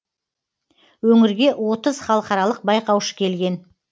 өңірге отыз халықаралық байқаушы келген